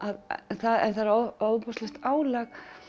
en það er ofboðslegt álag